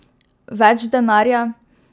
Več denarja?